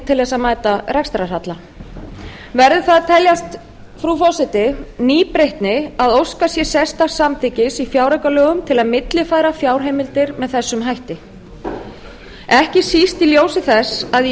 til að mæta rekstrarhalla verður það að teljast frú forseti nýbreytni að óskað sé sérstaks samþykkis í fjáraukalögum til að millifæra fjárheimildir með þessum hætti ekki síst í ljósi þess að í